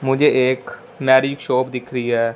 मुझे एक marriage shop दिख रही है।